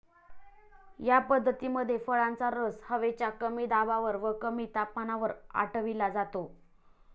या पद्धतीमध्ये फळांचा रस हवेच्या कमी दाबावर व कमी तापमानावर आटविला जातो.